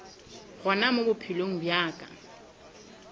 gona mo bophelong bja ka